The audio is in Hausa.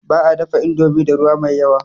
Ba a dafa indomi da ruwa mai yawa.